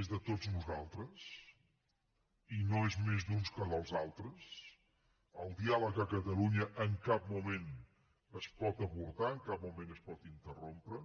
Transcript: és de tots nosaltres i no és més d’uns que dels altres el diàleg a catalunya en cap moment es pot avortar en cap moment es pot interrompre